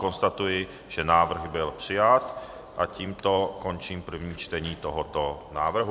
Konstatuji, že návrh byl přijat, a tímto končím první čtení tohoto návrhu.